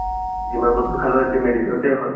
যিমান বস্তু খালেও এতিয়া medicine তে হয়